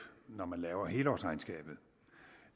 når man laver helårsregnskabet